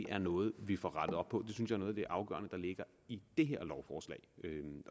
er noget vi får rettet op på det synes jeg er noget af det afgørende der ligger i det her lovforslag